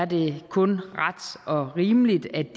det kun ret og rimeligt at det